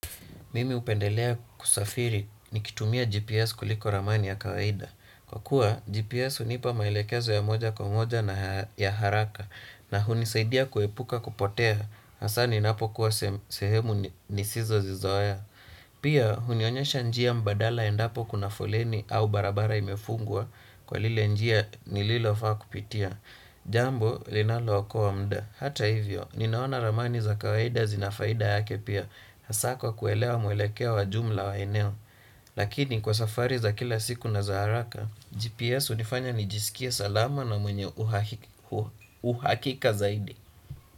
Mimi hupendelea kusafiri nikitumia GPS kuliko ramani ya kawaida kwa kuwa GPS hunipa maelekezo ya moja kwa moja na ya haraka na hunisaidia kuepuka kupotea hasa ninapo kuwa sehemu nisizozizoea. Pia hunionyesha njia mbadala endapo kuna foleni au barabara imefungua. Kwa lile njia nililo faa kupitia jambo linalo okoa muda, hata hivyo, ninaona ramani za kawaida zina faida yake pia hasa kwa kuelewa mwelekeo wa jumla wa eneo. Lakini kwa safari za kila siku na za haraka GPS hunifanya nijisikia salama na mwenye uhakika zaidi.